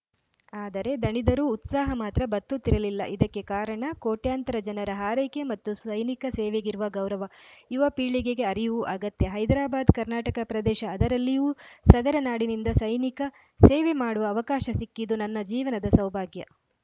ಆದರೆ ದಣಿದರೂ ಉತ್ಸಾಹ ಮಾತ್ರ ಬತ್ತುತ್ತಿರಲಿಲ್ಲ ಇದಕ್ಕೆ ಕಾರಣ ಕೋಟ್ಯಂತರ ಜನರ ಹಾರೈಕೆ ಮತ್ತು ಸೈನಿಕ ಸೇವೆಗಿರುವ ಗೌರವ ಯುವ ಪೀಳಿಗೆಗೆ ಅರಿವು ಅಗತ್ಯ ಹೈದ್ರಾಬಾದ್‌ ಕರ್ನಾಟಕ ಪ್ರದೇಶ ಅದರಲ್ಲಿಯೂ ಸಗರನಾಡಿನಿಂದ ಸೈನಿಕ ಸೇವೆ ಮಾಡುವ ಅವಕಾಶ ಸಿಕ್ಕಿದ್ದು ನನ್ನ ಜೀವನದ ಸೌಭಾಗ್ಯ